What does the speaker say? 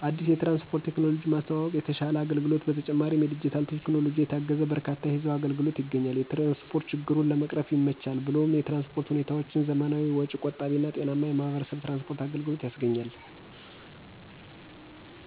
አዲስ የትራንስፖርት ቴክኖሎጂ ማስተዋወቅ የተሸለ አገልግሎት በተጨማሪ የዲጂታል ቴክኖሎጂ የታገዘ በርካታ የህዝብ አገልግሎትች ይገኛል። የትራንስፖርት ችግሩን ለመቅረፍ ይመቻል ብሎም የትራንስፖርት ሁኔታዎችም ዘመናዊ ወጭ ቆጣቢ እና ጤናማ የማህበረሰብ የትራንስፖርት አገልግሎት ያስገኛል